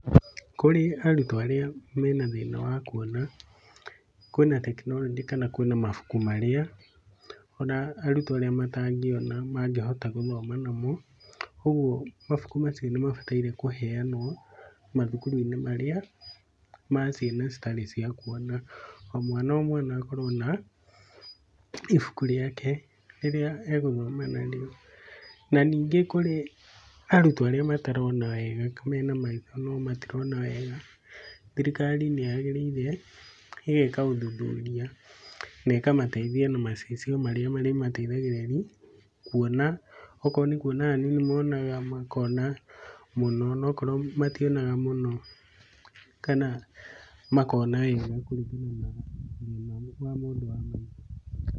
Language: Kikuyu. Kũrĩ arutwo arĩa mena thĩna wa kwona, kwĩna tekinoronjĩ kana kwĩna mabuku marĩa ona arutwo matangĩona mangĩhota gũthoma. ũgwo mabuku macio nĩmabatiĩ kũheanwo mathukuru-inĩ marĩa maciana citarĩ ciakwona. O mwana o mwana akorwo na ibuku rĩake, rĩrĩa agũthoma narĩo. Nanyingĩ kũrĩ arutwo arĩa matarona wega, mena maitho maitho no matirona wega, thirikari nĩyagĩrvire ĩgeka ũthuthuria nekamateithia na macicio marĩa marĩmateithagia kwona. Okorwo nĩ kwona hanini monaga makona mũno nokorwo mationaga mũno kana makona haraihu kũringana na wa ũmenyo mũndũ wa maitho.